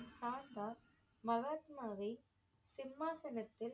சாந்தா மகாத்மாவை சிம்மாசனத்தில்